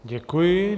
Děkuji.